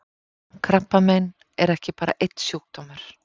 Krabbamein er ekki bara einn sjúkdómur.